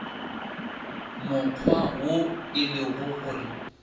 mokgwa wo e lego gore